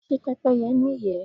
Ṣé Pẹ́pẹ́yẹ́ ní ìyẹ́?